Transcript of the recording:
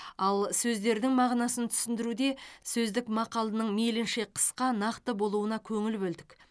ал сөздердің мағынасын түсіндіруде сөздік мақалының мейлінше қысқа нақты болуына көңіл бөлдік